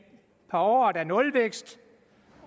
par år er nulvækst